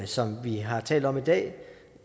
som vi har talt om i dag